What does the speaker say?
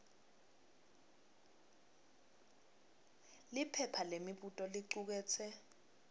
liphepha lemibuto licuketse